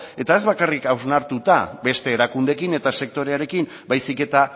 eta ez bakarrik hausnartuta beste erakundeekin eta sektorearekin baizik eta